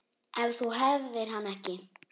Ef þú hefðir hann ekki.